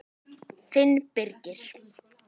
Þinn Birgir.